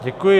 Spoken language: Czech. Děkuji.